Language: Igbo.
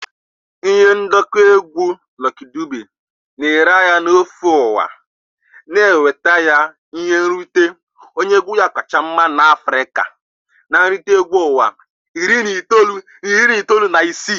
Ihe ndekọ egwu Lucky Dube na-ere ahịa n'ofe ụwa wee nweta ya ihe nrite onye egwu kacha mma n'Africa na nrite egwu ụwa iri na itoolu na iri itoolu na isii.